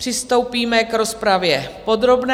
Přistoupíme k rozpravě podrobné.